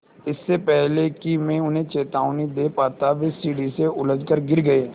इससे पहले कि मैं उन्हें चेतावनी दे पाता वे सीढ़ी से उलझकर गिर गए